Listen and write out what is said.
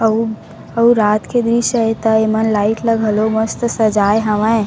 अऊ अउ रात के दृश्य हे त एमन लाइट म घलो मस्त सजाए हवय ।